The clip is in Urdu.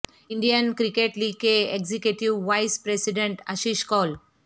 انڈین کرکٹ لیگ کے ایگزیکٹیو وائس پریذیڈنٹ اشیش کول